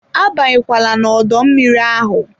Abanye kwala n'odo mmiri ahụ!